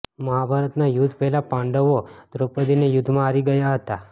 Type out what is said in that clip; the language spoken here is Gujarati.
મહાભારતના યુદ્ધ પહેલાં પાંડવો દ્રૌપદીને યુદ્ધમાં હારી ગયા હતા